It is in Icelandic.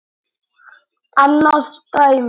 Annað dæmi